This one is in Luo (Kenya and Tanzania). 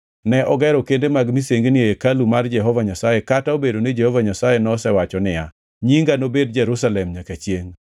Ne ogero kende mag misengini e hekalu mar Jehova Nyasaye kata obedo ni Jehova Nyasaye nosewacho niya, “Nyinga nobed Jerusalem nyaka chiengʼ.”